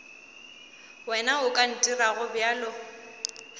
wena o ka ntirago bjalo